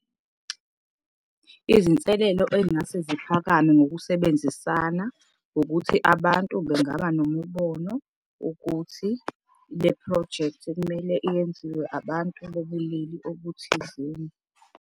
Izinselelo ey'ngase ziphakame ngokusebenzisana ukuthi abantu bengaba nomubono ukuthi leprojekthi ekumele iyenziwe abantu bobulili obuthizeni.